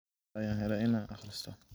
Hada ayan hele wa ina akristo.